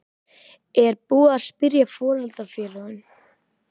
Er búið að spyrja foreldrafélögin?